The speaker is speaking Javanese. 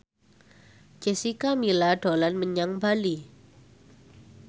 Jessica Milla dolan menyang Bali